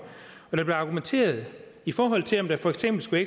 blev argumenteret i forhold til om der for eksempel skulle